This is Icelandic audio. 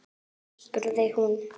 spurði hún.